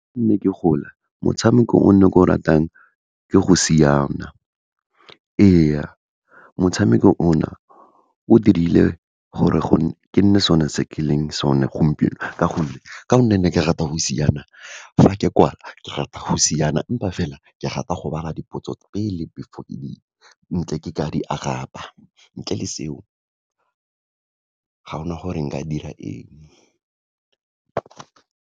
Ga ne ke gola, motshameko o ne ke o ratang ke go siana, ee, motshameko o na, o dirile gore kenne sone se ke leng sone gompieno, ka gonne, ka gonne ne ke rata go siana, fa ke kwala, ke rata go siana empa fela, ke rata go bala dipotso pele, before ntle ke ka di araba. Ntle le seo, ga ona gore nka dira eng.